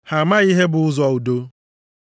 Ha amaghị ihe bụ ụzọ udo. + 3:17 \+xt Aịz 59:7,8\+xt*